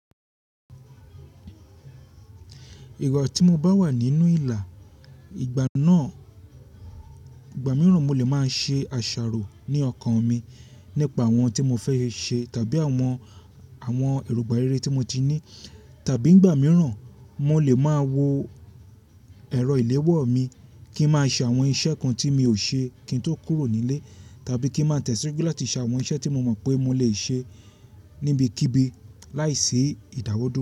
Ìgba tí mo bá wà nínú ìlà ìgbà náà, ìgbà mìíràn mo lè máa ṣe àṣàrò ní ọkàn mi nípa àwọn tí mo fẹ́ ṣe tàbí àwọn, àwọn èrògbà rere tí mo ti ní. Tàbí ìn gbà mìíràn mo lè máa wo ẹ̀rọ ìléwọ́ mi kí n má ṣe àwọn iṣẹ́ kan tí mi ò ṣe kí n tó kúrò nílé tàbí kí n má tẹ̀síwájú láti ṣe àwọn iṣẹ́ tí mo mọ̀ pé mo lè ṣe níbi kíbi láìsí ìdádwọduo.